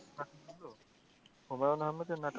হুমায়ুন আহমেদের নাটক